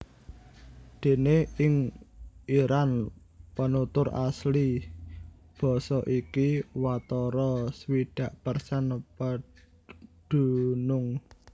Déné ing Iran penutur asli basa iki watara swidak persen pedunung